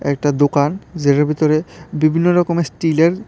একটা দোকান যেটার ভিতরে বিভিন্ন রকমের স্টিলের--